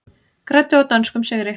Græddu á dönskum sigri